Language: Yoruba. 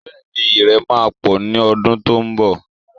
Bẹ́ẹ̀ni, Ìrẹ̀ máa pọ̀ ní ọdún tó ń bọ̀